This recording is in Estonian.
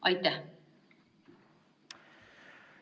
Aitäh!